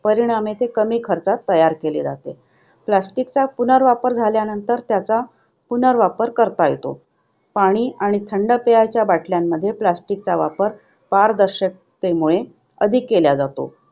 परिणामी, ते कमी खर्चात तयार केले जाते. Plastic चा पुनर्वापर झाल्यानंतर त्याचा पुनर्वापर करता येतो. पाणी आणि थंड पेयाच्या बाटल्यांमध्ये plastic चा वापर पारदर्शकतेमुळे अधिक केला जातो.